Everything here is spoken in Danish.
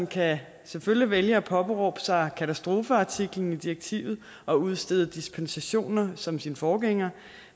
kan selvfølgelig vælge at påberåbe sig katastrofeartiklen i direktivet og udstede dispensationer som sin forgænger